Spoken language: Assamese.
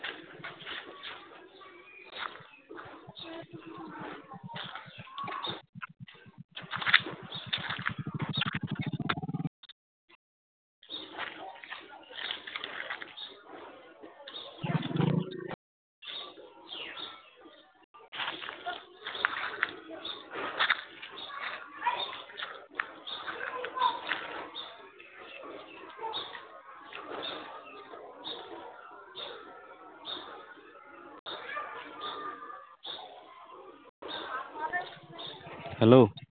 Hello